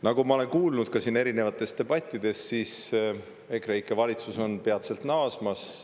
Nagu ma olen kuulnud ka siin erinevates debattides, on EKREIKE valitsus peatselt naasmas.